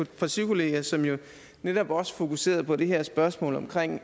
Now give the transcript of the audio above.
partikollega som netop også fokuserede på det her spørgsmål om